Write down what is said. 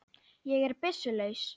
Ég er byssu laus.